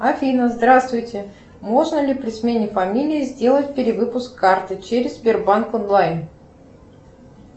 афина здравствуйте можно ли при смене фамилии сделать перевыпуск карты через сбербанк онлайн